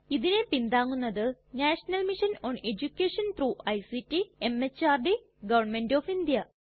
ഇതിനെ പിന്താങ്ങുന്നത് national mission on education through ICT MHRD government of India